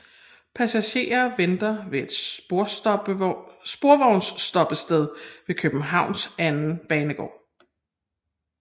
Passagerer venter ved et sporvognsstoppested ved Københavns anden banegård